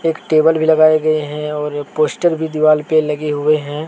एक टेबल भी लगाए गए हैं और पोस्ट भी दीवाल पर लगे हुए हैं।